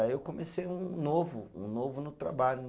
Aí eu comecei um novo, um novo no trabalho.